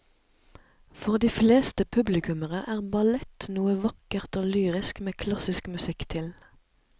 For de fleste publikummere er ballett noe vakkert og lyrisk med klassisk musikk til.